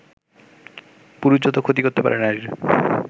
পুরুষ যত ক্ষতি করতে পারে নারীর